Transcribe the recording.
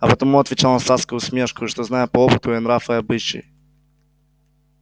а потому отвечал он с адской усмешкою что знаю по опыту её нрав и обычай